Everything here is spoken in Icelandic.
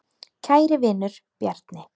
Kæri vinur, Bjarni.